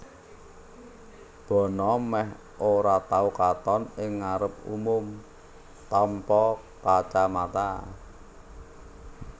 Bono mèh ora tau katon ing ngarep umum tanpa kacamata